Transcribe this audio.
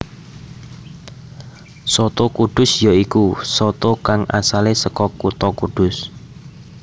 Soto kudus ya iku soto kang asalé saka kutha Kudus